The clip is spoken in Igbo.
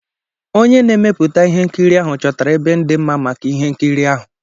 Onye na-emepụta ihe nkiri ahụ chọtara ebe dị mma maka ihe nkiri ahụ.